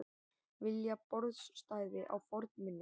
Vilja borstæði á fornminjar